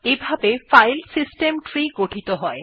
এভাবে Linux file system tree তৈরী হয়